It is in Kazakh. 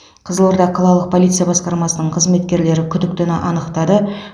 қызылорда қалалық полиция басқармасының қызметкерлері күдіктіні анықтады